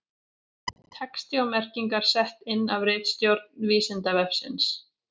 Texti og merkingar sett inn af ritstjórn Vísindavefsins.